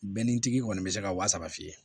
Bɛnni tigi kɔni bɛ se ka wa saba fiyɛ